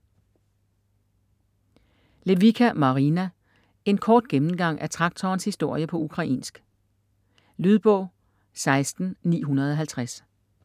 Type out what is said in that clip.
Lewycka, Marina: En kort gennemgang af traktorens historie på ukrainsk Lydbog 16950